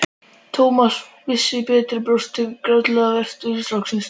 Thomas vissi betur og brosti góðlátlega að ertni stráksins.